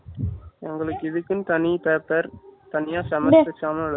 எங்களுக்கு இதுக்குண்ணு தனி paper தனியா semester exam யே